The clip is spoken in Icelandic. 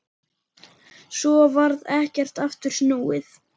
Svo varð ekkert aftur snúið.